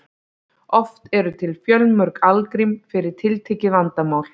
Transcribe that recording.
oft eru til fjölmörg algrím fyrir tiltekið vandamál